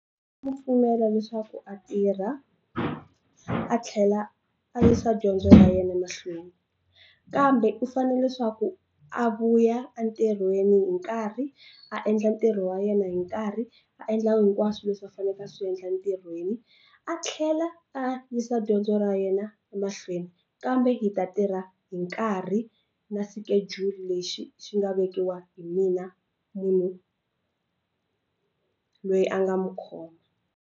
pfumela leswaku a tirha a tlhela a yisa dyondzo ya yena mahlweni kambe ku fanele leswaku a vuya entirhweni hi nkarhi a endla ntirho wa yena hi nkarhi a endla hinkwaswo leswi a faneleke a swi endla entirhweni a tlhela a yisa dyondzo ra yena emahlweni kambe hi ta tirha hi nkarhi na schedule lexi xi nga vekiwa hi mina munhu loyi a nga mu khoma.